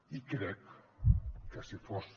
i crec que si fos